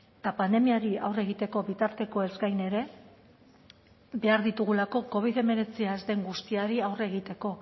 eta pandemiari aurre egiteko bitartekoez gain ere behar ditugulako covid hemeretzia ez den guztiari aurre egiteko